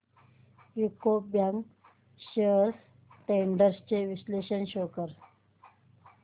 UCO bank shares trends चे विश्लेषण show कर